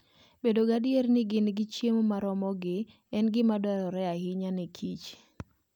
Bedo gadier ni gin gi chiemo moromogi en gima dwarore ahinya ne kich